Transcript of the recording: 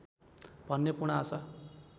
भन्ने पूर्ण आशा